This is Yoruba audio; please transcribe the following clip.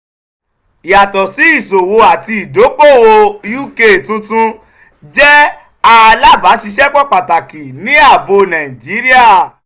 yato si iṣowo ati idoko-owo uk tun tun jẹ alabaṣiṣẹpọ pataki ni aabo naijiria.